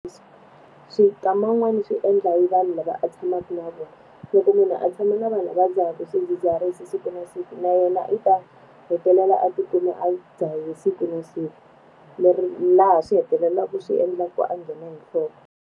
swi kama wun'wani swi endla hi vanhu lava a tshamaka na vona. Loko munhu a tshama na vanhu va dzahaka swidzidziharisi siku na siku na yena i ta hetelela a ti kuma a dzaha siku na siku. laha swi hetelelaka swi endla ku a nghena hi nhloko.